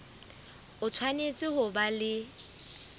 o tshwanetse ho ba le